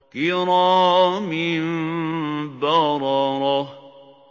كِرَامٍ بَرَرَةٍ